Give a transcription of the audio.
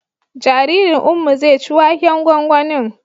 Jaririn Ummi zai ci waken gwangwanin